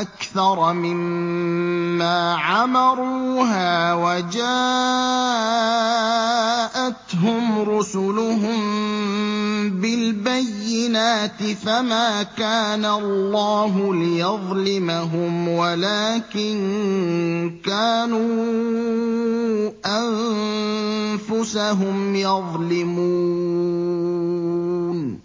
أَكْثَرَ مِمَّا عَمَرُوهَا وَجَاءَتْهُمْ رُسُلُهُم بِالْبَيِّنَاتِ ۖ فَمَا كَانَ اللَّهُ لِيَظْلِمَهُمْ وَلَٰكِن كَانُوا أَنفُسَهُمْ يَظْلِمُونَ